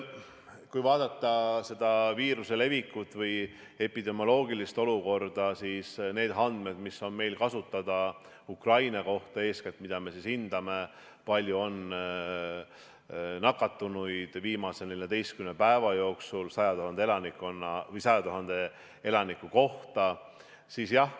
Kui vaadata viiruse levikut või epidemioloogilist olukorda, neid andmeid, mis on meil kasutada Ukraina kohta, siis eeskätt me hindame, kui palju on nakatunuid viimase 14 päeva jooksul 100 000 elaniku kohta.